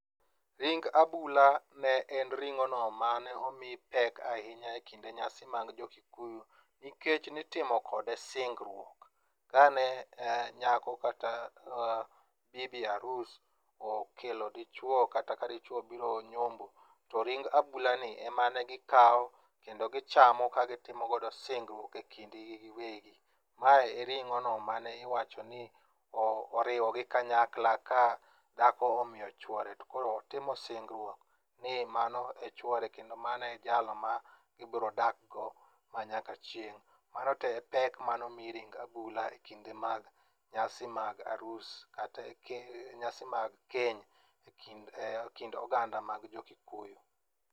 Ring abula ne en ring'ono ma ne omi pek ahinya e kinde nyasi mag jo kikuyu nikech nitimo kode singruok. Ka ne nyako kata bibi arus okelo dichwo kata ka dichwo obiro nyombo to ring abulani ema ne gikawo kendo gichamo ka gitimogodo singruok e kindgi giwegi. Ma e ring'ono ma ne iwachoni oriwogi kanyakla ka dhako omiyo chuore to koro otimo singruok ni mano e chwore kendo mano e jal ma gibrodakgo manyaka chieng'. Mano to e pek manomi ring abula e kinde mag nyasi mag arus kata nyasi mag keny e kind oganda mag jo kikuyu.